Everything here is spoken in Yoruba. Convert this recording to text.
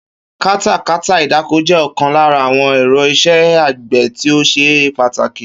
Katakata ìdáko jé̩ o̩kan lára àwo̩n è̩ro̩ is̩é̩ àgbè̩ tí ó s̩e pàtàkì